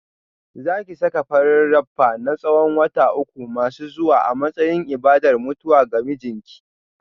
Za ki saka farin rapper na tsawon wata uku masu zuwa a matsayin ibadar mutuwa ga mijinki